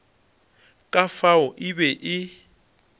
ka fao e be e